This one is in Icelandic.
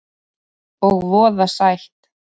Og voða sætt.